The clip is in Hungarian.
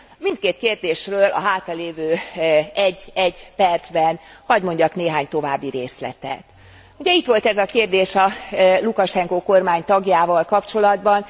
Mindkét kérdésről a hátralévő egy egy percben hadd mondjak néhány további részletet ugye itt volt ez a kérdés a Lukasenko kormány tagjával kapcsolatban.